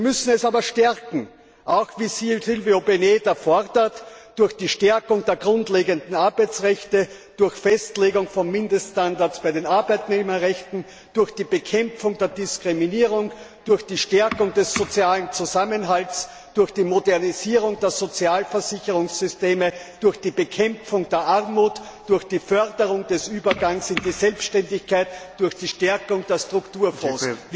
Wir müssen es stärken! Auch wie Silva Peneda fordert durch die Stärkung der grundlegenden Arbeitsrechte durch Festlegung von Mindeststandards bei den Arbeitnehmerrechten, durch die Bekämpfung der Diskriminierung, durch die Stärkung des sozialen Zusammenhalts, durch die Modernisierung der Sozialversicherungssysteme, durch die Bekämpfung der Armut, durch die Förderung des Übergangs in die Selbständigkeit, durch die Stärkung der Strukturfonds.